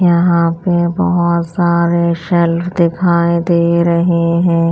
यहाँ पे बहुत सारे शेल्फ दिखाई दे रहे हैं।